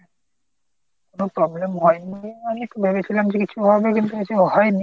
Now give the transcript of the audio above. কোনো problem হয়নি আমি একটু ভেবেছিলাম যে কিছু হবে কিন্তু কিছু হয়নি।